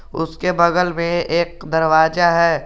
उसके बगल में एक दरवाजा है।